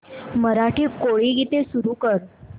मराठी कोळी गीते सुरू कर